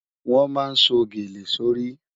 Wọn má sọ̀ gẹ̀lẹ̀ sọ́ rí.